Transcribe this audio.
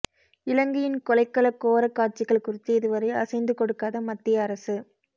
இலங்கையின் கொலைக்கள கோரக் காட்சிகள் குறித்து இதுவரை அசைந்து கொடுக்காத மத்திய அரசு